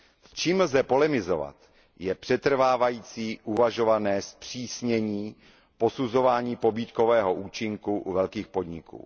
S čím lze polemizovat je přetrvávající uvažované zpřísnění posuzování pobídkového účinku u velkých podniků.